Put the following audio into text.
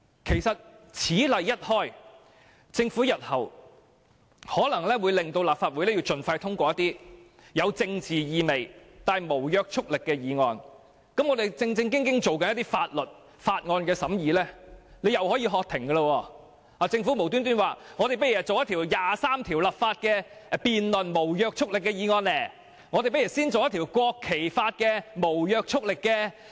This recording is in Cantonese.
其實，此例一開，政府日後可能會要求立法會盡快通過有政治意味但無約束力的議案，再次叫停我們認真處理的法案審議工作，例如突然要求進行《基本法》第二十三條立法的無約束力議案辯論，或是先行辯論《國旗法》的無約束力議案。